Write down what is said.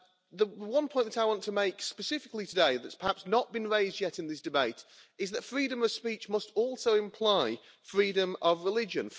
The one point that I want to make specifically today, that has perhaps not been raised yet in this debate, is that freedom of speech must also imply freedom of religion.